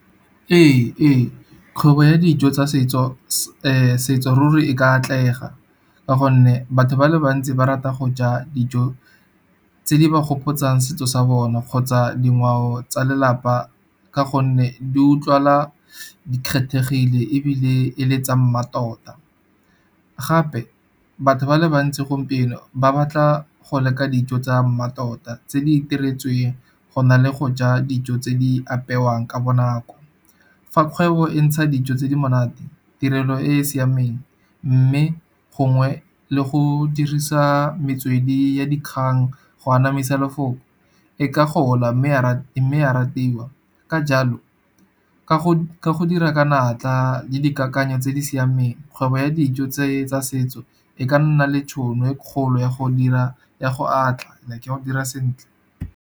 Ee kgwebo ya dijo tsa setso ruri e ka atlega, ka gonne batho ba le bantsi ba rata go ja dijo tse di ba gopotsang setso sa bone kgotsa dingwao tsa lelapa ka gonne di utlwala di kgethegile ebile e le tsa mmatota. Gape batho ba le bantsi gompieno ba batla go leka dijo tsa mmatota tse di itiretsweng, go na le go ja dijo tse di apewang ka bonako. Fa kgwebo e ntsha dijo tse di monate, tirelo e e siameng, mme gongwe le go dirisa metswedi ya dikgang go anamisa lefoko, e ka gola mme ya me ya ratiwa. Ka jalo ka go dira ka natla le dikakanyo tse di siameng, kgwebo ya dijo tse tsa setso e ka nna le tšhono e kgolo ya go atla, like ya go dira sentle.